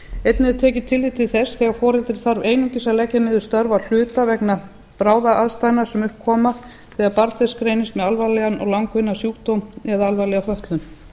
einnig er tekið tillit til þess þegar foreldri þarf einungis að leggja niður störf að hluta vegna bráðaaðstæðna sem upp koma þegar barn þess greinist með alvarlegan og langvinnan sjúkdóm eða alvarlega fötlun